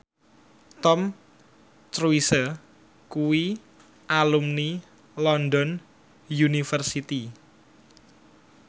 Tom Cruise kuwi alumni London University